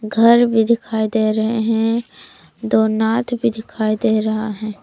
घर भी दिखाई दे रहे हैं दो नाद भी दिखाई दे रहा है।